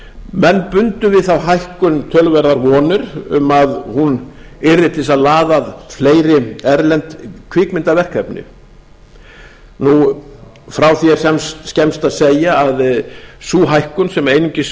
menn bundu við þá hækkun töluverðar vonir um að hún yrði til þess að laða að fleiri erlend kvikmyndaverkefni frá því er skemmst að segja að sú hækkun sem einungis